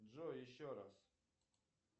джой еще раз